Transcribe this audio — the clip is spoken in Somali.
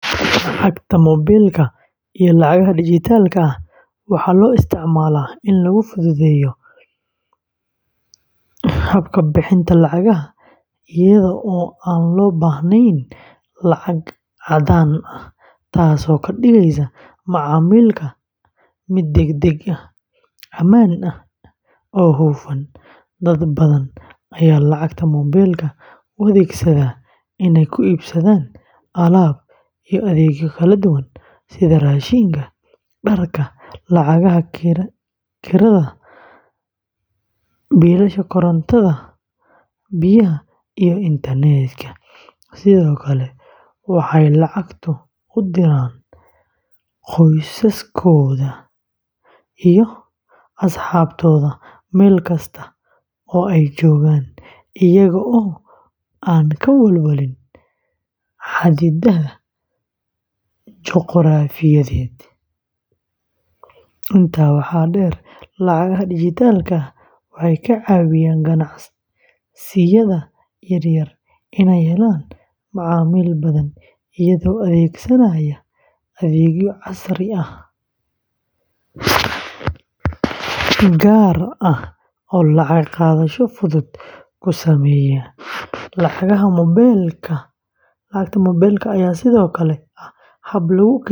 Lacagta moobilka iyo lacagaha dijitaalka ah waxaa loo isticmaalaa in lagu fududeeyo habka bixinta lacagaha iyada oo aan loo baahnayn lacag caddaan ah, taasoo ka dhigeysa macaamilka mid degdeg ah, ammaan ah, oo hufan. Dad badan ayaa lacagta moobilka u adeegsada inay ku iibsadaan alaab iyo adeegyo kala duwan sida raashinka, dharka, lacagaha kirada, biilasha korontada, biyaha iyo internetka, sidoo kale waxay lacag ugu diraan qoysaskooda iyo asxaabtooda meel kasta oo ay joogaan iyaga oo aan ka walwalin xaddidaadaha juquraafiyeed. Intaa waxaa dheer, lacagaha dijitaalka ah waxay ka caawinayaan ganacsiyada yaryar inay helaan macaamiil badan iyagoo adeegsanaya adeegyo casri ah gaar ah oo lacag qaadasho fudud ku sameeya. Lacagta moobilka ayaa sidoo kale ah hab lagu kaydiyo lacag.